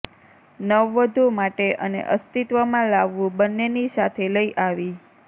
નવવધુ માટે અને અસ્તિત્વમાં લાવવું બંનેની સાથે લઇ આવી